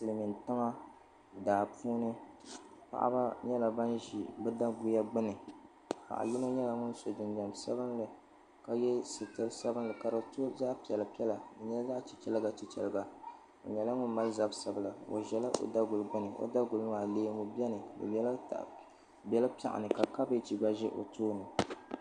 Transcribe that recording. Silimiin tiŋa daa puuni paɣaba nyɛla bini zi bi daguya gbuni paɣa yino nyɛla ŋuni so jinjam sabinli ka ye sitiri sabinli ka di to zaɣi piɛlla piɛlla di nyɛla zaɣi chichɛra chichɛra o nyɛla ŋun mali zabi sabila o zɛla o daguli gbuni maa leemu bɛni di bɛla piɛɣu ni ka kabieji gba zi o tooni.